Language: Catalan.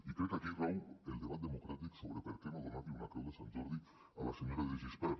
i crec aquí rau el debat democràtic sobre per què no donar li una creu de sant jordi a la senyora de gispert